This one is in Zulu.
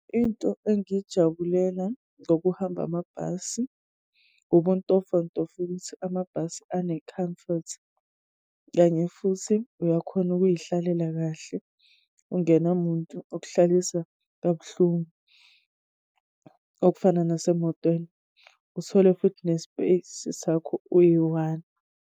Into engiyijabulela ngokuhamba amabhasi, ubuntofontofo ukuthi amabhasi ane-comfort. Kanye futhi uyakhona ukuyihlalela kahle, ungenamuntu okuhlalisa kabuhlungu, okufana nasemotweni. Uthole futhi ne-space sakho, uyi-one.